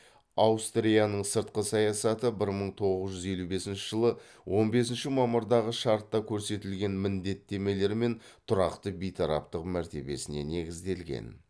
аустрияның сыртқы саясаты бір мың тоғыз жүз елу бесінші жылы он бесінші мамырдағы шартта көрсетілген міндеттемелер мен тұрақты бейтараптық мәртебесіне негізделген